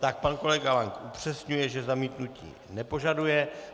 Tak pan kolega Lank upřesňuje, že zamítnutí nepožaduje.